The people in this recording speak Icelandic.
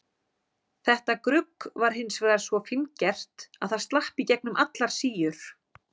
Þetta grugg var hins vegar svo fíngert að það slapp í gegnum allar síur.